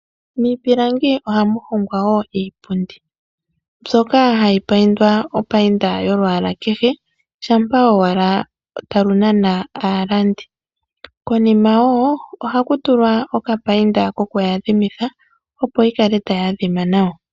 Miipilangi oha mu hongwa wo iipundi mbyoka hayi pandwa opayinda yolwaala kehe shampa owala talu nana aalandi konima woo ohaku tulwa oka payinda koku yadhimitha opo yi kale tayi adhima nawa.